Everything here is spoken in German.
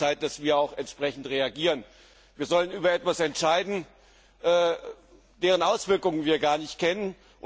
Es ist an der Zeit, dass wir entsprechend reagieren. Wir sollen über etwas entscheiden, dessen Auswirkungen wir gar nicht kennen.